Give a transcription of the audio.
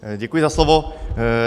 Děkuji za slovo.